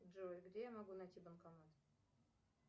джой где я могу найти банкомат